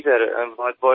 हो सर नमस्कार